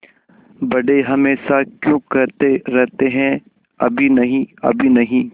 बड़े हमेशा क्यों कहते रहते हैं अभी नहीं अभी नहीं